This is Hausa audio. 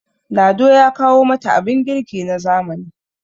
lado ya kawo mata abin girki na zamani